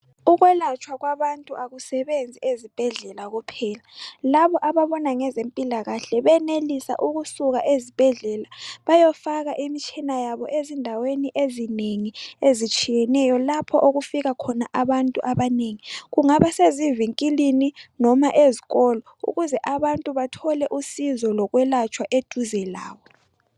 Ukwelatshwa kwabantu akusebenzi ezibhendlela kuphela labo ababona ngezempilakahle benelisa ukusuka ezibhendlela bayofaka imtshina yabo ezindaweni ezinengi ezitshiyeneyo lapho okufika abantu abanengi kungabasezivinkilini noma ezikolo ukuze abantu bathole usizo lokwelatshwa eduze labo.